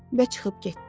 Və çıxıb getdi.